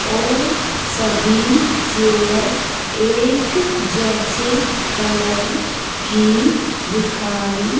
और सभी चेयर एक जैसे कलर की दिखाई--